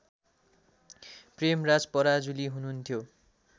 प्रेमराज पराजुली हुनुहुन्थ्यो